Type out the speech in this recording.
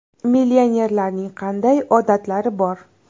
Millionerlarning qanday odatlari bor?.